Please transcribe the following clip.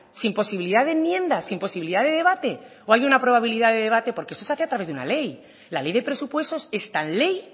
sin posibilidad de enmiendas sin imposibilidad de debate o hay una probabilidad de debate porque esto se hace a través de una ley la ley de presupuestos es tan ley